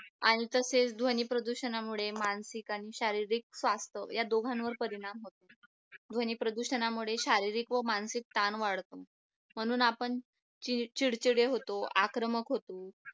आणि तसेच द्वानी प्रदूषणामुळे मानसिक आणि शारीरिक स्वास्थ या दोघांवर परिणाम होतो ध्वनी प्रदूषणामुळे शारीरिक व मानसिक ताण वाढतो म्हणून आपण चिडचिडे होतो आक्रमक होतो